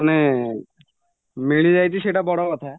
ମାନେ ମିଳିଯାଇଛି ସେଇଟା ବଡ଼କଥା